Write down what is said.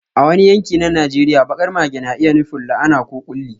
A wani yanki na Najeriya, baƙar mage na iya nufin la'ana ko ƙulli.